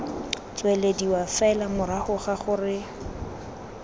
tswelediwa fela morago ga gore